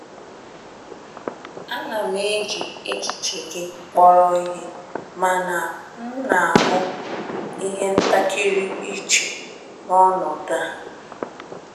Ana m eji echiche gị kpọrọ ihe, mana m na-ahụ na-ahụ ihe ntakịrị iche n'ọnọdụ a.